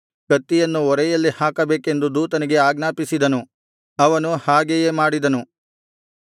ಕತ್ತಿಯನ್ನು ಒರೆಯಲ್ಲಿ ಹಾಕಬೇಕೆಂದು ದೂತನಿಗೆ ಆಜ್ಞಾಪಿಸಿದನು ಅವನು ಹಾಗೆಯೇ ಮಾಡಿದನು